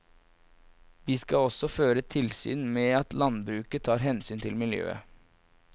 Vi skal også føre tilsyn med at landbruket tar hensyn til miljøet.